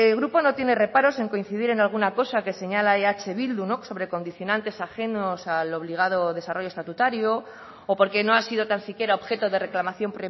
grupo no tiene reparos en coincidir en alguna cosa que señala eh bildu sobre condicionantes ajenos al obligado desarrollo estatutario o porque no ha sido tan siquiera objeto de reclamación